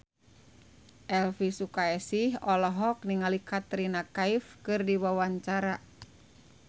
Elvy Sukaesih olohok ningali Katrina Kaif keur diwawancara